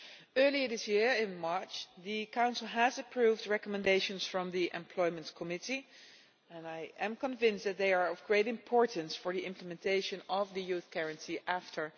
Earlier this year, in March, the Council approved recommendations from the Employment Committee and I am convinced that they are of great importance for the implementation of the Youth Guarantee after